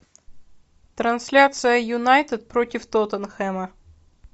трансляция юнайтед против тоттенхэма